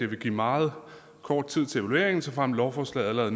ville give meget kort tid til evaluering såfremt lovforslaget allerede